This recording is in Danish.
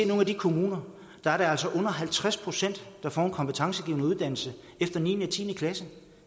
nogle af de kommuner er det altså under halvtreds pct der får en kompetencegivende uddannelse efter niende og tiende klasse